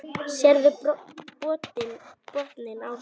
Sérðu botninn á þeim.